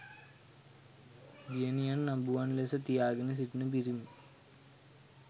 දියණියන් අඹුවන් ලෙස තියා ගෙන සිටින පිරිමි